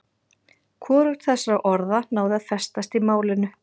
Hvorugt þessara orða náði að festast í málinu.